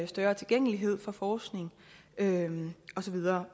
større tilgængelighed for forskning og så videre